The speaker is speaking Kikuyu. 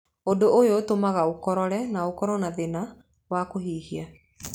Ũndũ ũyũ ũtũmaga ũkorore na ũkorwo na thĩna wa kũhuhia.